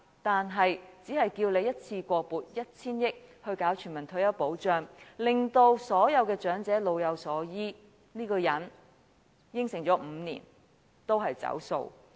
但對於我們只要求一次過撥款 1,000 億元推行全民退休保障，令所有長者老有所依，這個人5年前已作出承諾，卻仍然"走數"。